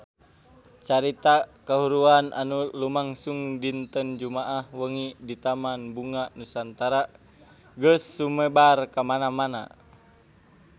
Carita kahuruan anu lumangsung dinten Jumaah wengi di Taman Bunga Nusantara geus sumebar kamana-mana